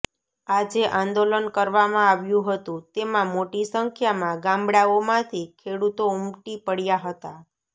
આજે આંદોલન કરવામાં આવ્યું હતું તેમાં મોટી સંખ્યામાં ગામડાઓમાંથી ખેડૂતો ઉમટી પડ્યા હતા